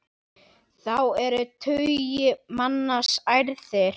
Þá eru tugir manna særðir.